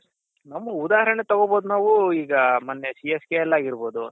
ನಮ್ಮ ಉದಾಹರಣೆ ತಗೊಬೋದು ನಾವು ಈಗ ಮೊನ್ನೆ CSK ಅಲ್ಲಿ ಆಗಿರ್ಬೋದು .